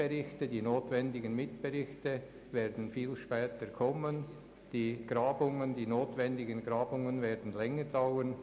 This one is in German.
Die notwendigen Mitberichte werden viel später eintreffen, die notwendigen Grabungen werden länger dauern.